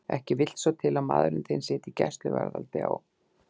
Ekki vill svo til að maðurinn þinn sitji í gæsluvarðhaldi á